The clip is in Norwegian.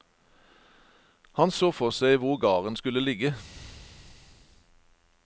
Han så for seg hvor garden skulle ligge.